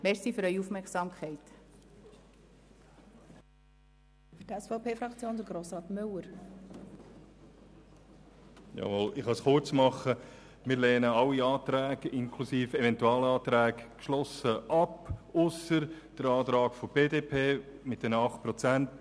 Wir lehnen alle Anträge und Eventualanträge geschlossen ab, ausser dem Antrag der BDP auf eine Kürzung um 8 Prozent.